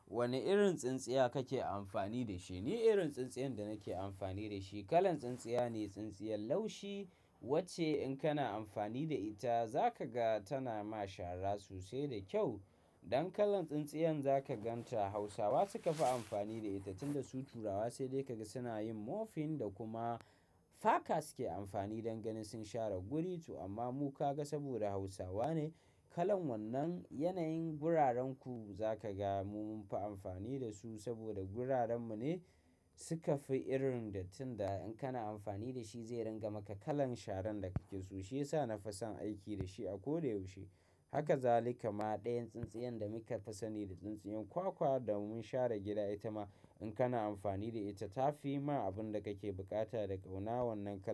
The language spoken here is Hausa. Wane irin tsintsiya kake amfani da shi? Ni irin tsintsiyan da nake amfani da shi, kalan tsintsiya ne, tsintsiyan laushi wacce in kana amfani da ita za ka ga tana ma shara sosai da kyau. Don kalan tsintsiyan za ka gan ta Hausawa suka fi amfani da ita tunda su turawa sai dai ka ga suna yin mofin da kuma faka suke amfani don ganin sun share guri tu. Amma mu ka ga saboda Hausawa ne, kalan wannan yanayin gurarenku za ka ga mu mun fi amfani da su saboda guraren mu ne tuka fi irin dattin da in kana amfani da shi zai ringa maka kalan sharan da kake so, shi ya sa na fi son aiki da shi a koda yaushe. Haka za lika ma ɗayan tsintsiyan da muka fi sani da tsintsiyan kwakwa da mun share gida ita ma in kana amfani da ita ta fi ma abun da kake buƙata da kunawan nan ka.